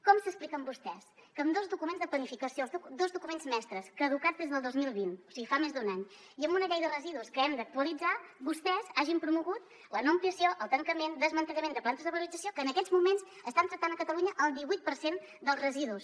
com s’expliquen vostès que amb dos documents de planificació dos documents mestres caducats des del dos mil vint o sigui fa més d’un any i amb una llei de residus que hem d’actualitzar vostès hagin promogut la no ampliació el tancament desmantellament de plantes de valorització que en aquests moments estan tractant a catalunya el divuit per cent dels residus